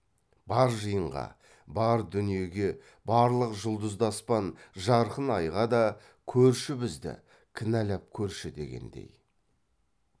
бар жиынға бар дүниеге барлық жұлдызды аспан жарқын айға да көрші бізді кінәлап көрші дегендей